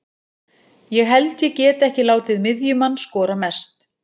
Ég held ég geti ekki látið miðjumann skora mest.